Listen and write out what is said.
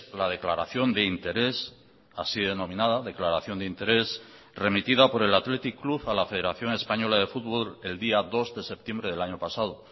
la declaración de interés así denominada declaración de interés remitida por el athletic club a la federación española de fútbol el día dos de septiembre del año pasado